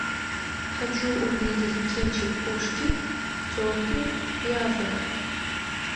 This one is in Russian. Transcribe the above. хочу увидеть кинчик пушки телки и азарт